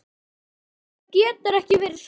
Þetta getur ekki verið satt.